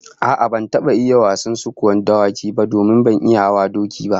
A'a, ban taba iya wasan sukuwan dawaki ba domin ban iya hawan doki ba